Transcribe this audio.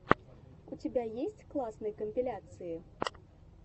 у тебя есть классные компиляции